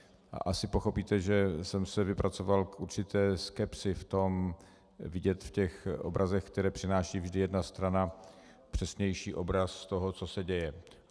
A asi pochopíte, že jsem se vypracoval k určité skepsi v tom vidět v těch obrazech, které přináší vždy jedna strana, přesnější obraz toho, co se děje.